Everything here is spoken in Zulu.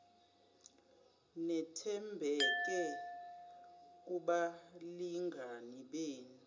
nethembeke kubalingani benu